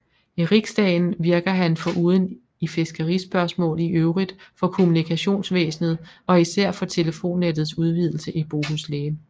I riksdagen virkede han foruden i fiskerispørgsmål i øvrigt for kommunikationsvæsenet og især for telefonnettets udvidelse i Bohuslän